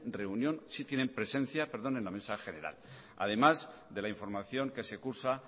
reunión sí tienen presencia en la mesa general además de la información que se cursa